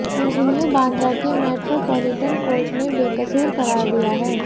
उन्हें बांद्रा के metropolitan court ने बेकसूर करार दिया है